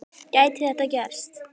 Gæti þetta gerst?